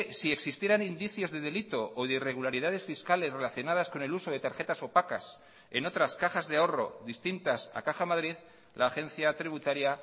si existieran indicios de delito o de irregularidades fiscales relacionadas con el uso de tarjetas opacas en otras cajas de ahorro distintas a caja madrid la agencia tributaria